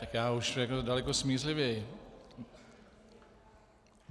Tak já už to řeknu daleko smířlivěji.